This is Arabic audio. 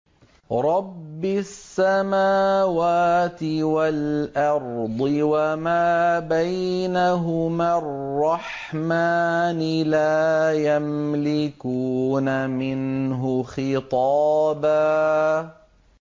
رَّبِّ السَّمَاوَاتِ وَالْأَرْضِ وَمَا بَيْنَهُمَا الرَّحْمَٰنِ ۖ لَا يَمْلِكُونَ مِنْهُ خِطَابًا